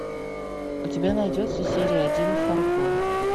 у тебя найдется серия один фарго